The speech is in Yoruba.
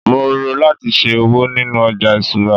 mo n ro lati ṣe òwò ninu oja isura